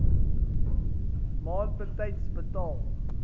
maand betyds betaal